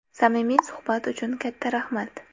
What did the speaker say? Samimiy suhbat uchun katta rahmat!